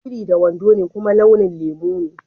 Biri da wando dm ne kuma launin lemu ne.